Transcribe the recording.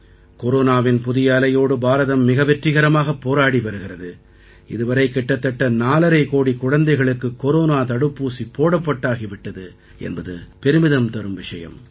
கொரோனாவின் புதிய அலையோடு பாரதம் மிக வெற்றிகரமாகப் போராடி வருகிறது இதுவரை கிட்டத்தட்ட 4500 கோடிக் குழந்தைகளுக்குக் கொரோனா தடுப்பூசி போடப்பட்டாகி விட்டது என்பது பெருமிதம் தரும் விஷயம்